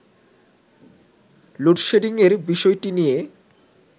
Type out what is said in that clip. load শেডিংয়ের বিষয়টি নিয়ে